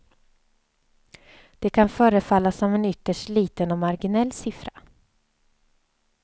Det kan förefalla som en ytterst liten och marginell siffra.